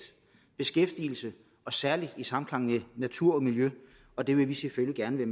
og beskæftigelse i særlig samklang med natur og miljø og det vil vi selvfølgelig